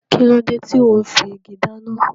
Kíló dé tò ún fi igi dáná?